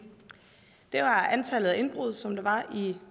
det var antallet af indbrud som der var i